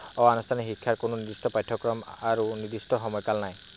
অনানুষ্ঠানিক শিক্ষাৰ কোনো নিৰ্দিষ্ট পাঠ্যক্ৰম আৰু সময়কাল নাই।